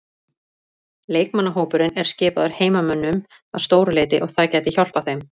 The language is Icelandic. Leikmannahópurinn er skipaður heimamönnum að stóru leyti og það gæti hjálpað þeim.